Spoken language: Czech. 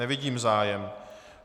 Nevidím zájem.